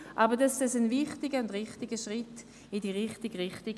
Dennoch ist der Vorstoss ein wichtiger Schritt in die richtige Richtung.